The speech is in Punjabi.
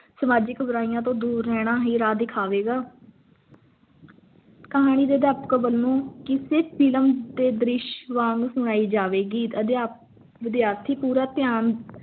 ਸਮਾਜਿਕ ਬੁਰਾਈਆਂ ਤੋਂ ਦੂਰ ਹਰਿਆਣਾ ਵੀ ਰਾਹ ਵਿਖਾਵੇਂਗਾ ਕਹਾਣੀ ਦੇ ਅਧਿਆਪਕ ਦੇ ਵੱਲੋਂ ਕਿੱਸੇ film ਦੇ ਦ੍ਰਿਸ਼ ਵਾਂਗ ਸੁਣਾਈ ਜਾਵੇਗੀ ਅਧਿਆਪ ਵਿਦਿਆਰਥੀ ਪੂਰਾ ਧਿਆਨ ਦੇਣ